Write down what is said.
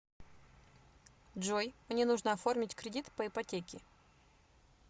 джой мне нужно оформить кредит по ипотеки